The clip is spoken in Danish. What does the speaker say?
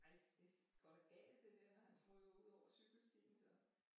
Ej det går da galt det der han ryger jo udover cykelstien så